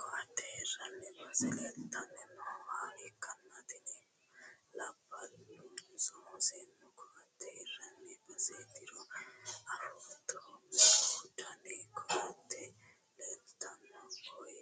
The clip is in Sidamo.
koatte hirranni base leeltanni nooha ikkanna, tini labbalunso seennu koatte hirranni baseetiro afootto? meu dani koatte leeltanno koye?